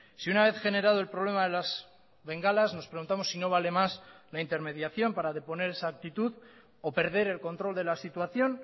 si una vez generado el problema de las bengalas nos preguntamos si no vale más la intermediación para deponer esa actitud o perder el control de la situación